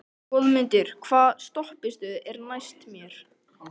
Goðmundur, hvaða stoppistöð er næst mér?